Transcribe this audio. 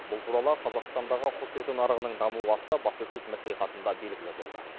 бұл туралы қазақстандағы құс еті нарығының дамуы атты баспасөз мәслихатында белгілі болды